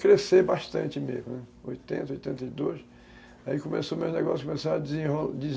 a crescer bastante mesmo, oitenta, oitenta e dois, aí o meu negócio começou a